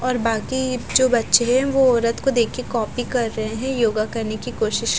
और बाकी जो बच्चे हैं वो रथ को देख के कॉपी कर रहे है योगा करने की कोशिश --